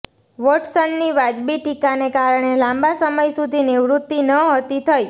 વોટસનની વાજબી ટીકાને કારણે લાંબા સમય સુધી નિવૃત્તિ નહોતી થઈ